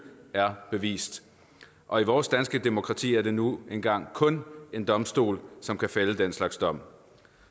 er bevist og i vores danske demokrati er det nu engang kun en domstol som kan fælde den slags dom